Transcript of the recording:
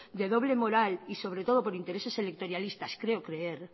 de doble moral y sobre todo por intereses electoralistas quiero creer